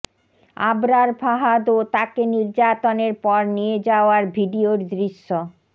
আবরার ফাহাদ ও তাকে নির্যাতনের পর নিয়ে যাওয়ার ভিডিওর দৃশ্য